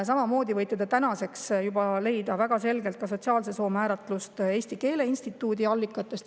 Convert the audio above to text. Samamoodi võite te tänaseks juba leida väga selgelt sotsiaalse soo määratluse Eesti Keele Instituudi allikatest.